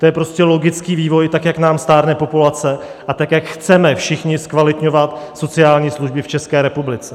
To je prostě logický vývoj tak, jak nám stárne populace a tak, jak chceme všichni zkvalitňovat sociální služby v České republice.